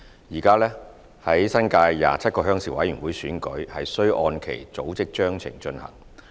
現時，新界27個鄉事會選舉須按其組織章程進行。